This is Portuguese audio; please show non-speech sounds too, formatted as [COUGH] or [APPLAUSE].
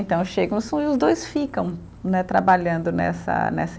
Então, chegam [UNINTELLIGIBLE] e os dois ficam né trabalhando nessa nessa